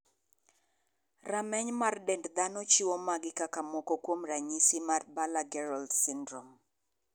Rameny mar dend dhano chiwo magi kaka moko kuom ranyisi mar Baller Gerold syndrome.